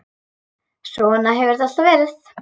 Svona hefur þetta alltaf verið.